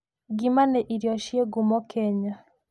Ngima nĩ irio ci ngumo Kenya.